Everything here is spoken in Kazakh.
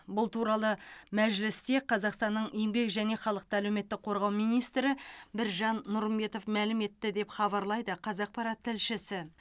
бұл туралы мәжілісте қазақстанның еңбек және халықты әлеуметтік қорғау министрі біржан нұрымбетов мәлім етті деп хабарлайды қазақпарат тілшісі